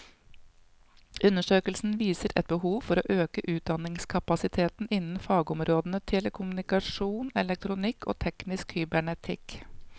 Undersøkelsen viser et behov for å øke utdanningskapasiteten innen fagområdene telekommunikasjon, elektronikk og teknisk kybernetikk.